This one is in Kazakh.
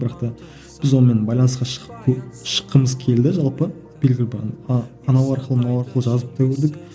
бірақ та біз онымен байланысқа шығып шыққымыз келді жалпы белгілі бір анау арқылы мынау арқылы жазып та көрдік